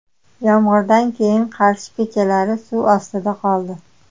Yomg‘irdan keyin Qarshi ko‘chalari suv ostida qoldi .